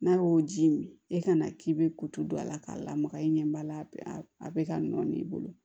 N'a y'o ji mi e ka na k'i bɛ kuto don a la k'a lamaga i ɲɛ b'a la a bɛ ka nɔɔni i bolo